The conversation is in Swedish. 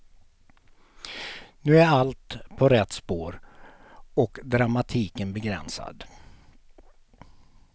Nu är allt på rätt spår och dramatiken begränsad.